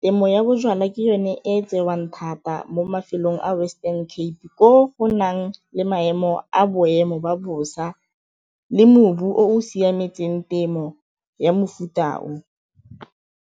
temo ya bojalwa ke yone e tsewang thata mo mafelong a Western Cape, ko go nang le maemo a boemo ba bosa le mobu o siametseng temo ya mefuta o.